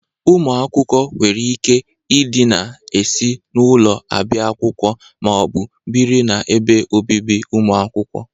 Ụmụ akwụkwọ nwere ike ị dịna esi n'ụlọ abịa akwụkwọ ma ọ bụ bịrị na ebe obibi ụmụ akwụkwọ.